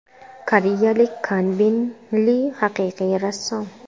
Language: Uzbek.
Koreyalik Kanbin Li haqiqiy rassom.